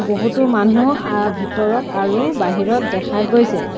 বহুতো মানুহ আ ভিতৰত আৰু বাহিৰত দেখা গৈছে।